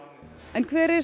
en hver er